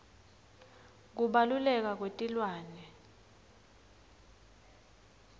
kubaluleka kwetilwane